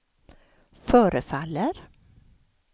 förefaller